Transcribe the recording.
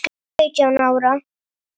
Sautján ára.